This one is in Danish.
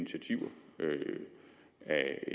at